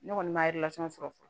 Ne kɔni ma sɔrɔ fɔlɔ